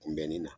Kunbɛnni na